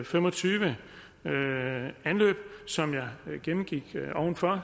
fem og tyve anløb som jeg gennemgik ovenfor